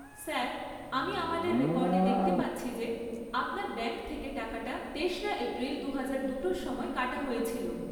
Sir, আমি আমাদের রেকর্ডে দেখতে পাচ্ছি যে আপনার ব্যাঙ্ক থেকে টাকাটা তেশরা এপ্রিল দুপুর দুটোর সময় কাটা হয়েছিল।